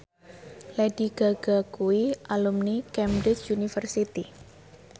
Lady Gaga kuwi alumni Cambridge University